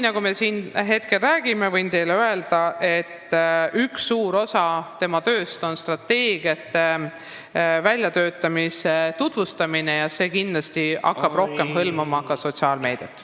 Võin teile öelda, et üks suur osa tema tööst on strateegiate väljatöötamise tutvustamine ja see kindlasti hakkab rohkem hõlmama ka sotsiaalmeediat.